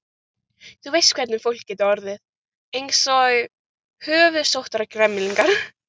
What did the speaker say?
Þú veist hvernig fólk getur orðið: Eins og höfuðsóttargemlingar.